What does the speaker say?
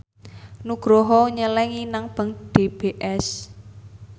Nugroho nyelengi nang bank DBS